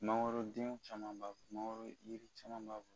Mangoro denw caman ba mangoro yiri caman b'a kɔnɔ.